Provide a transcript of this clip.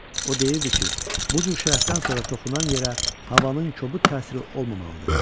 O deyirdi ki, bu cür şərəfdən sonra toxunan yerə havanın kobud təsiri olmamalıdır.